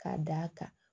K'a d'a kan